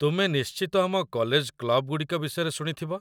ତୁମେ ନିଶ୍ଚିତ ଆମ କଲେଜ କ୍ଲବ୍‌‌ଗୁଡ଼ିକ ବିଷୟରେ ଶୁଣିଥିବ